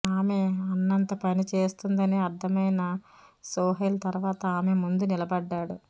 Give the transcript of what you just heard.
ఆమె అన్నంత పని చేస్తుందని అర్థమైన సోహైల్ తర్వాత ఆమె ముందు నిలబడ్డాడు